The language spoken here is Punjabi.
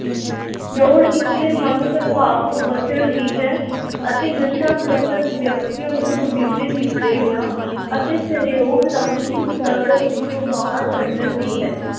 ਲੋੜ ਇਸ ਦੇ ਮੰਦ-ਪ੍ਰਭਾਵ ਤੋਂ ਬਚਣ ਦੀ ਹੈ ਅਤੇ ਨਸ਼ਾ-ਗ੍ਰਸਤ ਵਿਅਕਤੀਆਂ ਨੂੰ ਚੌਗਿਰਦੇ ਦੀ ਪ੍ਰੇਰਨਾ ਅਤੇ ਸਹਿਯੋਗ ਰਾਹੀਂ ਇਸ ਦਲਦਲ ਵਿੱਚੋਂ ਬਾਹਰ ਕੱਢਣ ਦੀ ਹੈ।